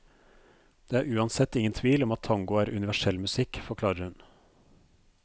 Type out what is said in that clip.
Det er uansett ingen tvil om at tango er universell musikk, forklarer hun.